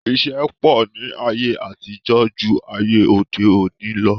Isẹ́ pọ̀ ní ayé àtijọ́ ju ayé òde òni lọ